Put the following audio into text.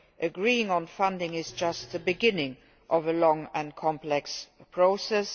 Agreeing on funding is just the beginning of a long and complex process.